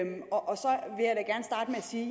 sige